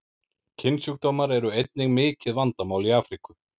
Kynsjúkdómar eru einnig mikið vandamál í Afríku.